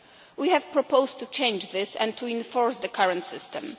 We have proposed to change this and to enforce the current system.